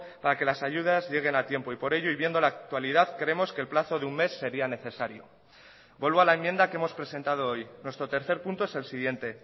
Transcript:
para que las ayudas lleguen a tiempo y por ello y viendo la actualidad creemos que el plazo de un mes sería necesario vuelvo a la enmienda que hemos presentado hoy nuestro tercer punto es el siguiente